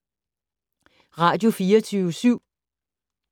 Radio24syv